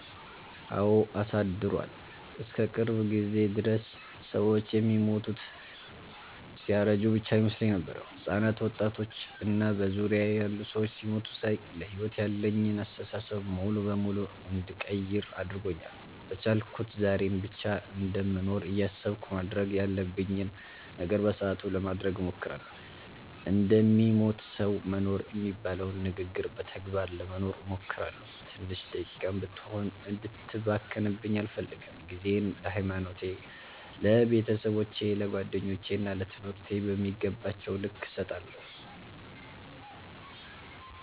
አወ አሳድሯል። እስከ ቅርብ ጊዜ ድረስ ሰወች የሚሞቱት ሲያረጁ ብቻ ይመስለኝ ነበር። ህጻናት፣ ወጣቶች እና በዙሪያየ ያሉ ሰዎች ሲሞቱ ሳይ ለሕይወት ያለኝን አስተሳሰብ ሙሉ በሙሉ እንድቀይር አድርጎኛል። በቻልኩት ዛሬን ብቻ እንደምኖር እያሰብኩ ማድረግ ያለብኝን ነገር በሰአቱ ለማድረግ እሞክራለሁ። እንደሚሞት ሰዉ መኖር የሚባለውን ንግግር በተግባር ለመኖር እሞክራለሁ። ትንሽ ደቂቃም ብትሆን እንድትባክንብኝ አልፈልግም። ጊዜየን ለሀይማኖቴ፣ ለቤተሰቦቼ፣ ለጓደኞቼ እና ለትምህርቴ በሚገባቸዉ ልክ እሰጣለሁ።